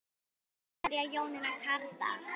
Anna María og Jónína Kárdal.